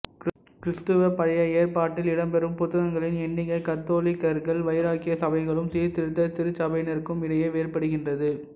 கிறிஸ்தவ பழைய ஏற்பாட்டில் இடம்பெறும் புத்தகங்களின் எண்ணிக்கை கத்தோலிக்கர்கள் வைராக்கிய சபைகளுக்கும் சீர்திருத்த திருச்சபையினருக்கும் இடையே வேறுபடுகின்றது